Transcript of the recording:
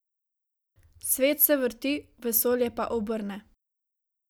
Svet se vrti, vesolje pa obrne.